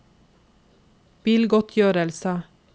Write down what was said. bilgodtgjørelse